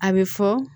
A bɛ fɔ